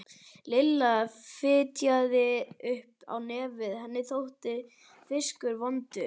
Lilla fitjaði upp á nefið, henni þótti fiskur vondur.